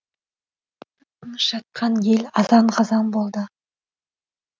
тып тыныш жатқан ел азан қазан болды